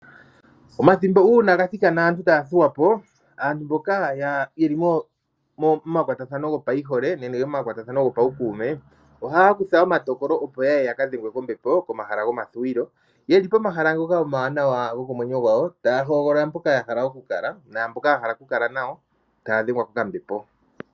Omathimbo uuna ga thikana aantu taya thuwa po, aantu mboka yeli mo makwatathano gopaihole nenge gopaukuume ohaya kutha omatakolo, opo yaye ya ka dhengwe kombepo komahala gomathiwilo yeli pomahala ngoka omawanawa gokomwenyo gwawo taya hogolola mpoka ya hala oku Kala naamboka ya hala oku kala nayo taya dhengwa kokambepo.